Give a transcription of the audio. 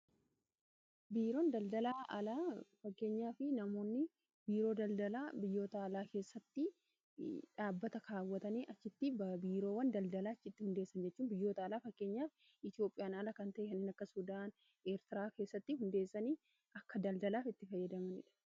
Biiroon daldala alaa fakkeenyaaf namoonni biiroo daldalaa biyyoota alaa keessatti dhaabbata kaawwatanii achitti biiroowwan daldalaa achitti hundeessan jechuun biyyoota alaa fakkeenyaaf Itoophiyaan ala kan ta'e kanniin akka Sudaan, Eertiraa keessatti hundeessanii akka daldalaaf itti fayyadamanidha.